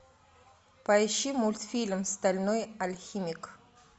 поищи мультфильм стальной алхимик